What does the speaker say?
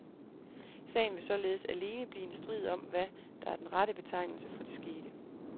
Sagen vil således alene blive en strid om, hvad der er den rette betegnelse for det skete.